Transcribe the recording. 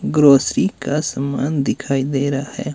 Grocery का सामान दिखाई दे रहा है।